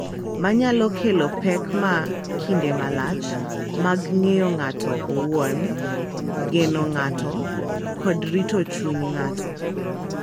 Ma nyalo kelo pek ma kinde malach mag ng’eyo ng’ato owuon, geno ng’ato, kod rito chuny ng’ato.